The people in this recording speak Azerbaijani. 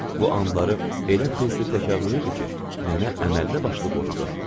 Bu anları elə tez-tez təkrarlayırdı ki, nənə əməllibaşlı qorxdu.